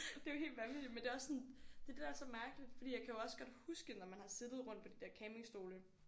Det er jo helt vanvittigt men det er også sådan det er det der er så mærkeligt fordi jeg kan jo også godt huske når man har siddet rundt på de der campingstole